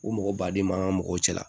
O mɔgɔ baden ma an ka mɔgɔw cɛ la